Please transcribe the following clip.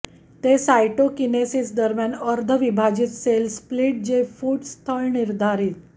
ते साइटोकिनेसिस दरम्यान अर्ध विभाजित सेल स्प्लिट जे फूट फूट स्थळ निर्धारित